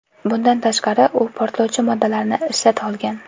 Bundan tashqari, u portlovchi moddalarni ishlata olgan.